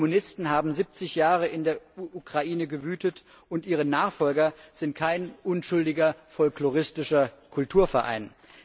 Die Kommunisten haben 70 Jahre in der Ukraine gewütet, und ihre Nachfolger sind kein unschuldiger folkloristischer Kulturverein.